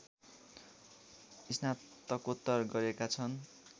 स्नातकोत्तर गरेका छन्